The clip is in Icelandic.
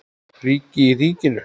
Ríki í ríkinu?